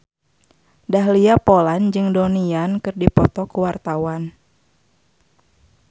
Dahlia Poland jeung Donnie Yan keur dipoto ku wartawan